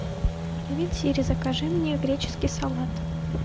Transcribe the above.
привет сири закажи мне греческий салат